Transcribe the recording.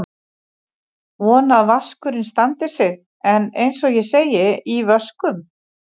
Vona að vaskurinn standi sig en eins og ég segi: í vöskum.